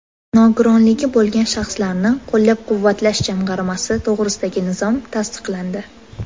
Nogironligi bo‘lgan shaxslarni qo‘llab-quvvatlash jamg‘armasi to‘g‘risidagi nizom tasdiqlandi.